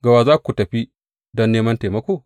Ga wa za ku tafi don neman taimako?